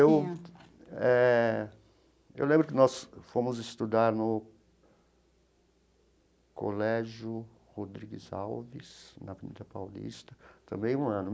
Eu eh eu lembro que nós fomos estudar no Colégio Rodrigues Alves, na Avenida Paulista, também um ano.